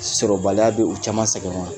Sɔrɔbaliya bɛ u caman sɛgɛn wa